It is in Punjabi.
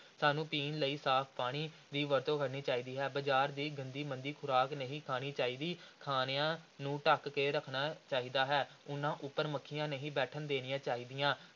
ਸਾਨੂੰ ਪੀਣ ਲਈ ਸਾਫ਼ ਪਾਣੀ ਦੀ ਵਰਤੋਂ ਕਰਨੀ ਚਾਹੀਦੀ ਹੈ, ਬਾਜ਼ਾਰ ਦੀ ਗੰਦੀ ਮੰਦੀ ਖ਼ੁਰਾਕ ਨਹੀਂ ਖਾਣੀ ਚਾਹੀਦੀ, ਖਾਣਿਆਂ ਨੂੰ ਢੱਕ ਕੇ ਰੱਖਣਾ ਚਾਹੀਦਾ ਹੈ, ਉਨ੍ਹਾਂ ਉੱਪਰ ਮੱਖੀਆਂ ਨਹੀਂ ਬੈਠਣ ਦੇਣੀਆਂ ਚਾਹੀਦੀਆਂ।